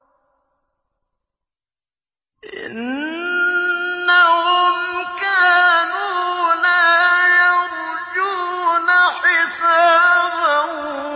إِنَّهُمْ كَانُوا لَا يَرْجُونَ حِسَابًا